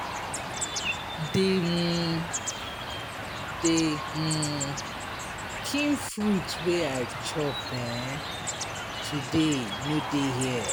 The um The um kin fruit wey I chop um today no dey here.